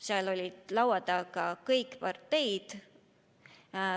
Seal olid laua taga kõik parteid.